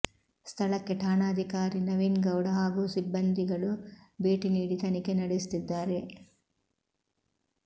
ಸ್ಥಳಕ್ಕೆ ಠಾಣಾಧಿಕಾರಿ ನವೀನ್ಗೌಡ ಹಾಗೂ ಸಿಬ್ಬಂದಿ ಗಳು ಭೇಟಿ ನೀಡಿ ತನಿಖೆ ನಡೆಸುತ್ತಿದ್ದಾರೆ